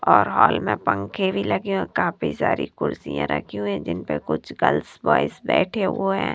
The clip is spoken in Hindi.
और हाल में पंखे भी लगे काफी सारी कुर्सियां रखी हुईं जिन पे कुछ गर्ल्स ब्वॉयज बैठे हुए हैं।